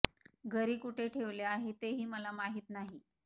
घरी कुठे ठेवले आहे ते हि मला माहित नाही